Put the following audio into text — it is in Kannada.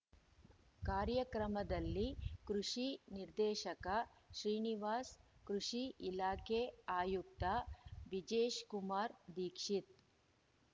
ಕಾರ್ಯಕ್ರಮದಲ್ಲಿ ಕೃಷಿ ನಿರ್ದೇಶಕ ಶ್ರೀನಿವಾಸ್ ಕೃಷಿ ಇಲಾಖೆ ಆಯುಕ್ತ ಬಿಜೇಶ್‍ಕುಮಾರ ದಿಕ್ಷಿತ್